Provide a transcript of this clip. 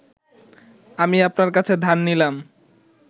আমি আপনার কাছে ধার নিলাম